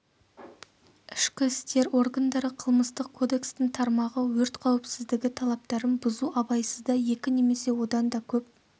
ішкі істер органдары қылмыстық кодекстің тармағы өрт қауіпсіздігі талаптарын бұзу абайсызда екі немесе одан да көп